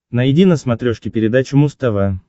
найди на смотрешке передачу муз тв